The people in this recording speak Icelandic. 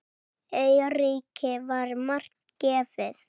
Eiríki var margt gefið.